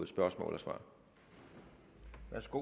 spørgsmål og svar værsgo